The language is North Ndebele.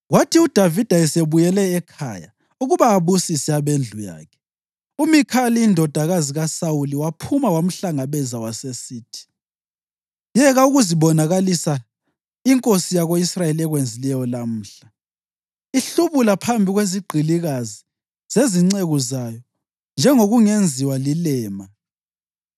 Kwathi uDavida esebuyele ekhaya ukuba abusise abendlu yakhe, uMikhali indodakazi kaSawuli waphuma wamhlangabeza, wasesithi, “Yeka ukuzibonakalisa inkosi yako-Israyeli ekwenzileyo lamhla ihlubula phambi kwezigqilikazi zezinceku zayo njengokungenziwa lilema!”